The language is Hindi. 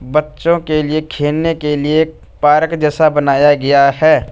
बच्चों के लिए खेलने के लिए पार्क जैसा बनाया गया है।